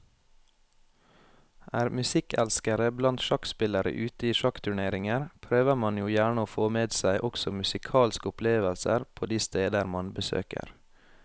Er musikkelskere blant sjakkspillere ute i sjakkturneringer, prøver man jo gjerne å få med seg også musikalske opplevelser på de steder man besøker.